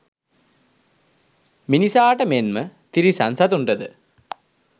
මිනිසාට මෙන්ම තිරිසන් සතුන්ටද